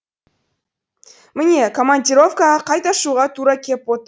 міне командировкаға қайта шығуға тура кеп отыр